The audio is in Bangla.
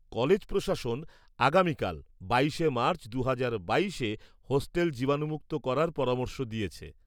কলেজ প্রশাসন আগামীকাল ২২শে মার্চ ২০২২-এ হোস্টেল জীবাণুমুক্ত করার পরামর্শ দিয়েছে।